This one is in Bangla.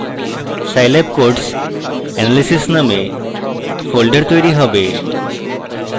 scilab codes analysis named folder তৈরী হবে